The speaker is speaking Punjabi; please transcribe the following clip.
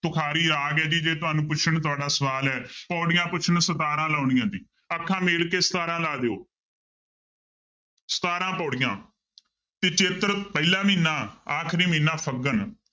ਤੁਖਾਰੀ ਰਾਗ ਹੈ ਜੀ ਜੇ ਤੁਹਾਨੂੰ ਪੁੱਛਣ ਤੁਹਾਡਾ ਸਵਾਲ ਹੈ ਪਾਉੜੀਆਂ ਪੁੱਛਣ ਸਤਾਰਾਂ ਲਾਉਣੀਆਂ ਜੀ, ਅੱਖਾਂ ਮੀਟ ਕੇ ਸਤਾਰਾਂਂ ਲਾ ਦਿਓ ਸਤਾਰਾਂ ਪਾਉੜੀਆਂ ਤੇ ਚੇਤਰ ਪਹਿਲਾ ਮਹੀਨਾ ਆਖ਼ਰੀ ਮਹੀਨਾ ਫੱਗਣ